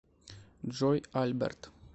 джой альберт